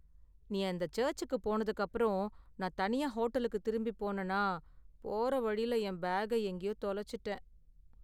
நீ அந்த சர்ச்சுக்கு போனதுக்கு அப்பறம், நான் தனியா ஹோட்டலுக்கு திரும்பி போனனா, போற வழியில என் பேக எங்கேயோ தொலைச்சுட்டேன்.